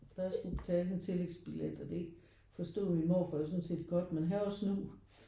Der skulle betales en tillægsbillet og det forstod min morfar jo sådan set godt men han var snu